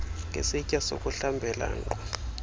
ngesitya sokuhlambela nkqu